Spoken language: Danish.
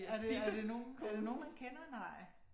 Er det er det nogen er det nogen man kender? Nej